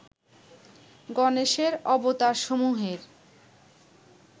গণেশের অবতারসমূহের